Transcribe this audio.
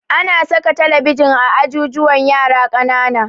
Ana saka talabijin a ajujuwan yara ƙanana